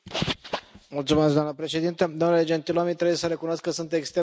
Doamnă președintă, domnule Gentiloni, trebuie să recunosc că sunt extrem de îngrijorat.